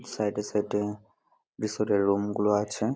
side -এ side -এ লোম গুলো আছে--